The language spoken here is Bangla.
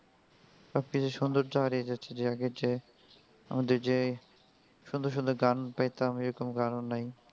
সবকিছুর সৌন্দর্য হারিয়ে যাচ্ছে যে আগের যে আমাদের যে সুন্দর সুন্দর গান পেতাম এরকম গানও নাই.